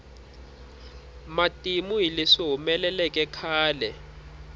matimu hi leswi humeleleke khale